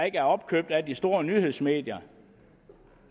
ikke er opkøbt af de store nyhedsmedier